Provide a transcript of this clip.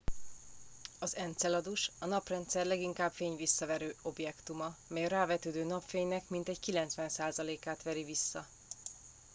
az enceladus a naprendszer leginkább fényvisszaverő objektuma mely a rávetődő napfénynek mintegy 90%-át veri vissza